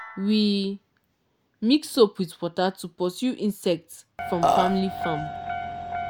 we mix soap with water to pursue insects from family farm.